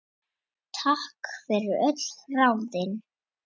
Takk fyrir öll ráðin.